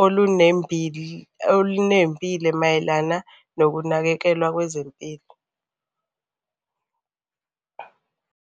olunembile mayelana nokunakekelwa kwezempilo.